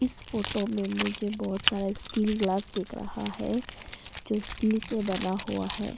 इस फोटो में मुझे बहोत सारे स्टील ग्लास दिख रहा है जो स्टील से बना हुआ है।